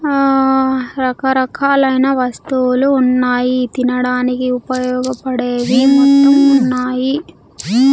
ఆ రకరకాలైన వస్తువులు ఉన్నాయి తినడానికి ఉపయోగపడేవి మొత్తం ఉన్నాయి.